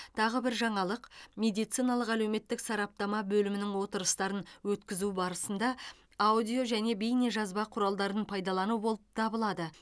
тағы бір жаңалық медициналық әлеуметтік сараптама бөлімінің отырыстарын өткізу барысында аудио және бейнежазба құралдарын пайдалану болып табылады